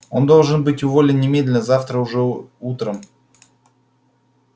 он должен быть уволен немедленно завтра уже утром